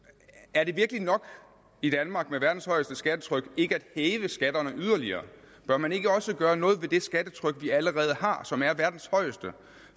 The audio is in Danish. er det virkelig nok i danmark der har verdens højeste skattetryk ikke at hæve skatterne yderligere bør man ikke også gøre noget ved det skattetryk vi allerede har og som er verdens højeste